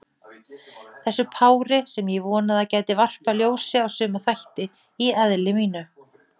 Þessu pári, sem ég vonaði að gæti varpað ljósi á suma þætti í eðli mínu.